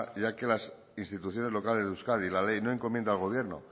ya que la ley de instituciones locales de euskadi no encomienda al gobierno